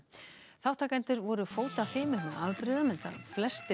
þátttakendur voru fótafimir með afbrigðum enda flestir